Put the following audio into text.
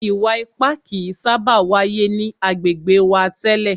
Ìwà ipá kìí sábà wáyé ni agbègbè wa tẹ́lẹ̀.